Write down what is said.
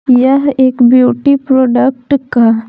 यह एक beauty product का --